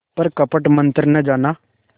पर कपट मन्त्र न जाना